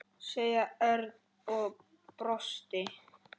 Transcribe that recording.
sagði Örn og brosti.